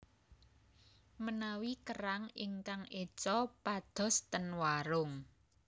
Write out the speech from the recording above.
Menawi kerang ingkang eco padhos ten warung